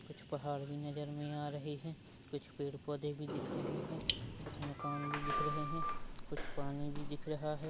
कुछ पहाड़ भी नज़र मे आ रहे है कुछ पेड़-पौधे भी दिख रहे है कुछ मकान भी दिख रहे है कुछ पानी भी दिख रहा है।